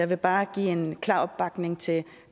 vil bare give en klar opbakning til